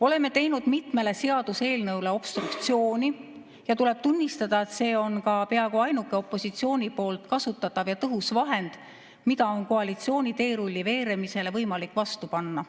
Oleme teinud mitmele seaduseelnõule obstruktsiooni, ja tuleb tunnistada, et see on ka peaaegu ainuke opositsiooni kasutatav tõhus vahend, mida on koalitsiooni teerulli veeremisele võimalik vastu panna.